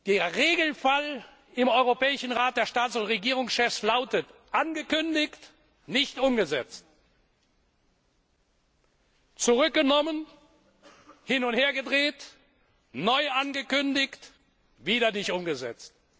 Der Regelfall im Europäischen Rat der Staats und Regierungschefs lautet angekündigt, nicht umgesetzt, zurückgenommen, hin und her gedreht, neu angekündigt, wieder nicht umgesetzt.